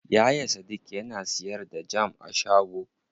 Yaya sadik yana siyar da jam a shago.